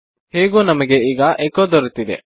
ಹೇಗೂ ನಮಗೆ ಈಗ ಎಚೊ ದೊರೆತಿದೆ